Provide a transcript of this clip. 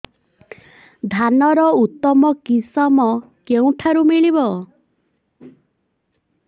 ଧାନର ଉତ୍ତମ କିଶମ କେଉଁଠାରୁ ମିଳିବ